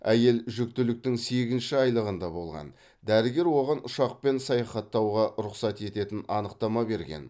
әйел жүктіліктің сегізінші айлығында болған дәрігер оған ұшақпен саяхаттауға рұқсат ететін анықтама берген